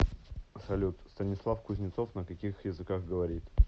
салют станислав кузнецов на каких языках говорит